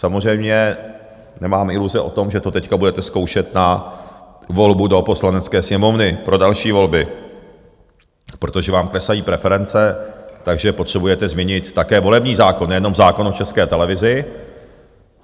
Samozřejmě nemám iluze o tom, že to teď budete zkoušet na volbu do Poslanecké sněmovny pro další volby, protože vám klesají preference, takže potřebujete změnit také volební zákon, nejenom zákon o České televizi.